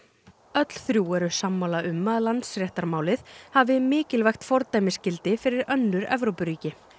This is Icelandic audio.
öll þrjú eru sammála um að Landsréttarmálið hafi mikilvægt fordæmisgildi fyrir önnur Evrópuríki